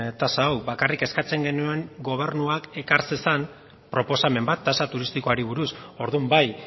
tasa hau bakarrik eskatzen genuen gobernuak ekar zezan proposamen bat tasa turistikoari buruz orduan bai